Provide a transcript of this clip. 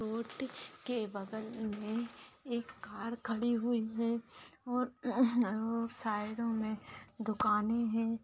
Road के बगल मे एक कार खड़ी हुई है और साइड मे दुकाने है।